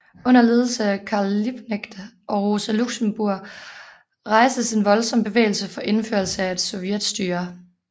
Under ledelse af Karl Liebknecht og Rosa Luxemburg rejstes en voldsom bevægelse for indførelse af et sovjetstyre